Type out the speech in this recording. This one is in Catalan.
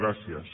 gràcies